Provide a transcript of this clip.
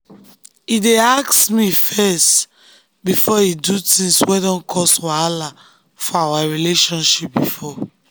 he dey ask me first before he do things wey don cause wahala for our relationship before.